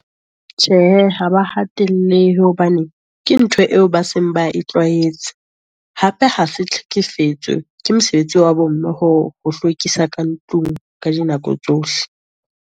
Tjhehe, ha ba hatellehe hobane ke ntho eo ba seng ba e tlwaetse, hape ha se tlhekefetso ke mosebetsi wa bo mme ho hlwekisa ka ntlong ka dinako tsohle.